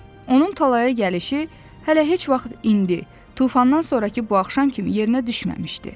Onun talaya gəlişi hələ heç vaxt indi, tufandan sonrakı bu axşam kimi yerinə düşməmişdi.